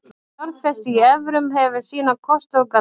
Að fjárfesta í evrum hefur sína kosti og galla.